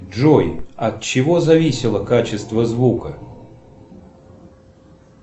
джой от чего зависело качество звука